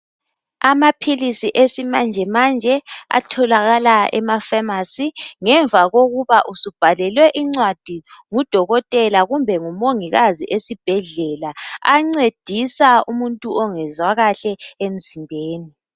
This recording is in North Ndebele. Amaphilisi esimanje manje , atholakala emafasi ngemuva khokuba usubhalele incwadi ngudokotela kumbe ngumungikazi esibhedlela, encedisa umuntu ongezwa kahle emzimbeni.